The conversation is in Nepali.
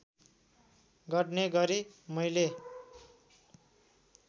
गर्ने गरी मैले